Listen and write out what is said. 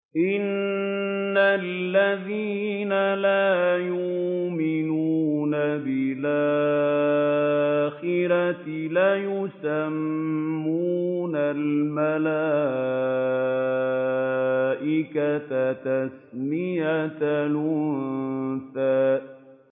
إِنَّ الَّذِينَ لَا يُؤْمِنُونَ بِالْآخِرَةِ لَيُسَمُّونَ الْمَلَائِكَةَ تَسْمِيَةَ الْأُنثَىٰ